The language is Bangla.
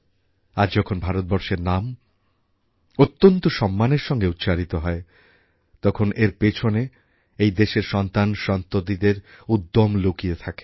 আজ যখন ভারতবর্ষের নাম অত্যন্ত সম্মানের সঙ্গে উচ্চারিত হয় তখন এর পেছনে এই দেশের সন্তানসন্ততিদের উদ্যম লুকিয়ে থাকে